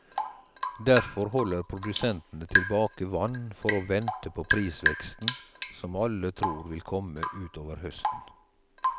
Derfor holder produsentene tilbake vann for å vente på prisveksten som alle tror vil komme ut over høsten.